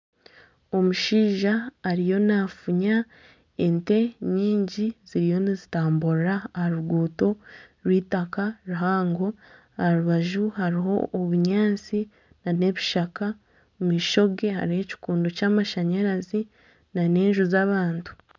Omushaija ariyo nafuunya ente nyingi ziriyo nizitamburira aha ruguuto rw'eitaaka ruhango aha rubaju hariho obunyaatsi n'ebishaka omumaisho ge hariho ekikondo ky'amashanyarazi n'enju z'abantu.